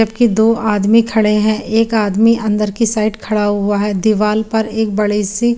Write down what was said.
जब की दो आदमी खड़े है एक आदमी अन्दर की साइड खड़ा हुआ है दीवाल पर एक बड़ी सी --